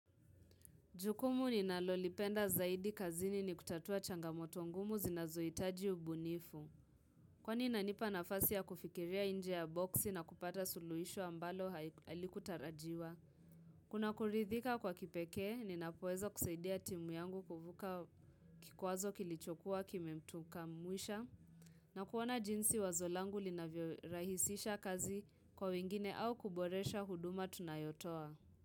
Jukumu ninalolipenda zaidi kazini ni kutatua changamoto ngumu zinazoitaji ubunifu. Kwani inanipa nafasi ya kufikiria nje ya boksi na kupata suluhisho ambalo halikutarajiwa. Kuna kuridhika kwa kipekee, ninapoweza kusaidia timu yangu kuvuka kikwazo kilichokuwa kimemtuka mwisha. Na kuona jinsi wazo langu linavyorahisisha kazi kwa wengine au kuboresha huduma tunayotoa.